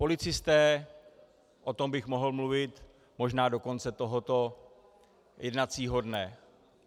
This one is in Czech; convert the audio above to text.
Policisté, o tom bych mohl mluvit možná do konce tohoto jednacího dne.